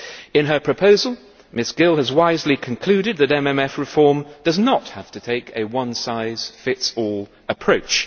In her proposal, Ms Gill has wisely concluded that MMF reform does not have to take a one size fits all approach.